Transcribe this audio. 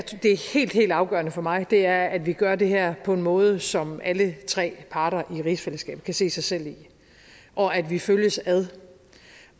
helt helt afgørende for mig er at vi gør det her på en måde som alle tre parter i rigsfællesskabet kan se sig selv i og at vi følges ad